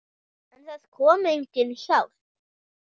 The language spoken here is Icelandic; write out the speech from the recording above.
En það kom engin hjálp.